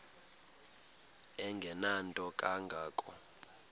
engenanto kanga ko